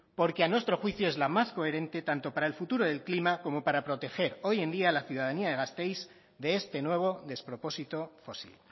porque a nuestro juicio es la más coherente tanto para el futuro del clima como para proteger hoy en día a la ciudadanía de gazteiz de este nuevo despropósito fósil